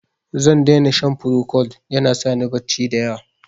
Zan dai na shan Procold, ya na sa ni barci da yawa.